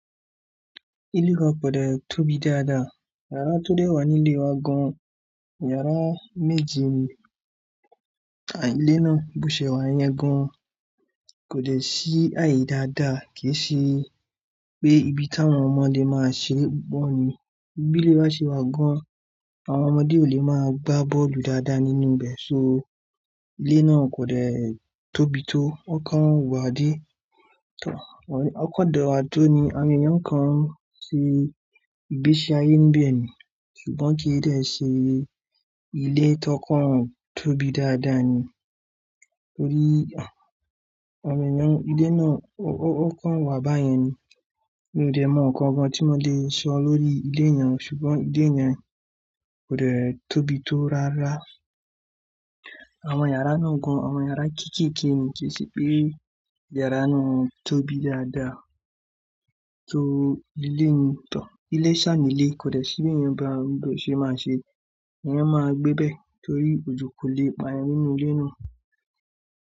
Ilé wa kò dẹ tóbi dáadáa. Yàrá tó dẹ́ wà nílé wa gan. Yàrá méje ni àìlé náà. Bo ṣe wà yẹn gan kò lè ṣí àì dáadáa kì í ṣe pé ibi táwọn ọmọ lè máa ṣe bọ́ọ̀lù. Bílè bá ṣe wà gan, àwọn ọmọdé ò lè máa gbá bọ́ọ̀lù dáadáa nínú bẹ̀. So ilé náà kò lè tóbi tó. Ó kán wà dé. Ó kán dẹ̀ wà dó ni àwọn èèyàn nǹkan ṣe ìgbésí ayé ń bẹ̀ ni. Ṣùgbọ́n kì í dẹ̀ ṣe ilé tó kán tóbi dáadáa ni. Torí ayẹyẹ ń, ilé náà ó kán wà bá yẹn ni. Mi ò dẹ̀ mọ nǹkan kan tí mo lè sọ lórí ilé yẹn. Ṣùgbọ́n ilé yẹn kò lè tóbi tó rárá. Àwọn yàrá náà gan, àwọn yàrá kéékèèké ni ṣe ṣé pé yàrá náà tóbi dáadáa. To ilé ni tàn. Ilé sààmì ilé kò dẹ sí ẹ̀yàn bá gbọ́ ṣe máa ṣe. Ẹ̀yàn máa gbébẹ̀ torí ojò kò le pa ẹni nínú ilé náà.